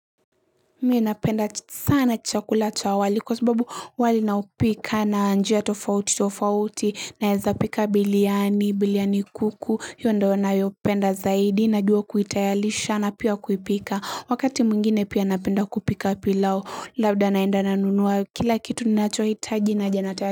Mie napenda sana chakula cha wali kwa sababu wali naupika na njia tofauti tofauti naeza pika biliani biliani kuku iyo ndio nayopenda zaidi najua kuitayalisha na pia kuipika wakati mungine pia napenda kupika pilao labda naenda nanunuwa kila kitu ni nacho hitaji naja natayalisha.